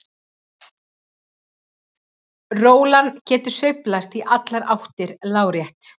Rólan getur sveiflast í allar áttir lárétt.